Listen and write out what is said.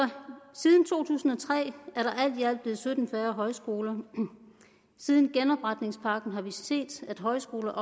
siden to tusind og tre er der alt i alt blevet sytten færre højskoler og siden genopretningspakken har vi set at højskoler